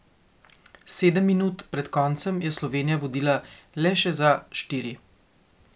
Sedem minut pred koncem je Slovenija vodila le še za štiri.